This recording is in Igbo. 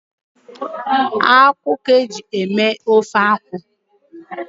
Akwụ ka eji eme ofe akwụ